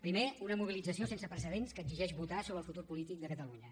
primer una mobilització sense precedents que exigeix votar sobre el futur polític de catalunya